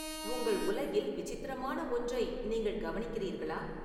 உங்கள் உலகில் விசித்திரமான ஒன்றை நீங்கள் கவனிக்கிறீர்களா